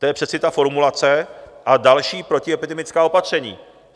To je přeci ta formulace "a další protiepidemická opatření".